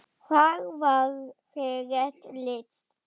Þar var þér rétt lýst!